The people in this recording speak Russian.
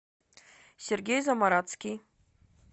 сергей замарацкий